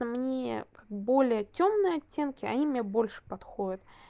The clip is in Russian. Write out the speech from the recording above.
мне как более тёмные оттенки они мне больше подходят